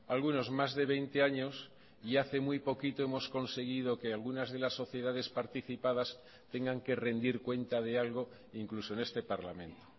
algunos más de veinte años y hace muy poquito hemos conseguido que algunas de las sociedades participadas tengan que rendir cuenta de algo incluso en este parlamento